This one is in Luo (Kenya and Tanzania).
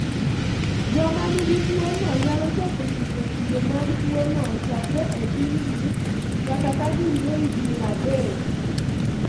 Joma nigi tuwono nyalo chako nyiso kido mag tuwono chakre e tin-gi nyaka ka gin johigni adek.